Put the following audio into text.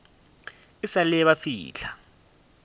e sa le ba fihla